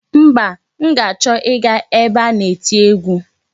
Mba, m ga-achọ ịga ebe a na-eti egwu.